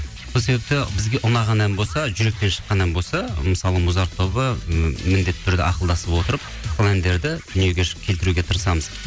сол себепті бізге ұнаған ән болса жүректен шыққан ән болса мысалы музарт тобы міндетті түрде ақылдасып отырып сол әндерді дүниеге келтіруге тырысамыз